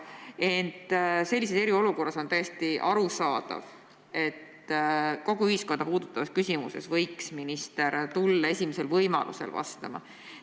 Ent sellises eriolukorras on täiesti arusaadav, et kogu ühiskonda puudutavas küsimuses võiks minister tulla esimesel võimalusel vastama.